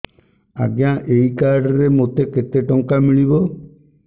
ଆଜ୍ଞା ଏଇ କାର୍ଡ ରେ ମୋତେ କେତେ ଟଙ୍କା ମିଳିବ